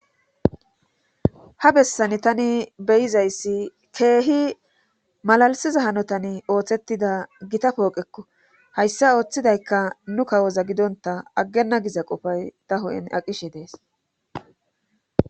Ha bessan tani beyizayssi keehi malalisiza hanotan ooththettida gita pooqekko hayssa ooththidaykka nu kawoza gidonta aggena giza qofay ta hu7en aqishe dees.